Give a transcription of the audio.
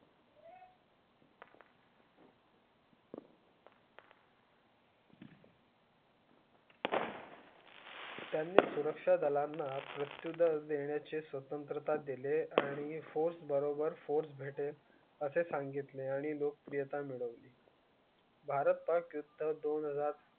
त्यांनी सुरक्षा दलांना प्रत्येक दा देण्या चे स्वतंत्रता दिले आणि force बरोबर force भेटेल असे सांगितले आणि लोकप्रियता मिळवली. भारत, पाक युद्ध, दोन हजार.